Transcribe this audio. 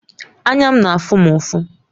Anya m na-afụ m ufọ